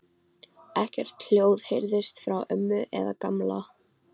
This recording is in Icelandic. Ekkert hljóð heyrðist frá ömmu eða Gamla.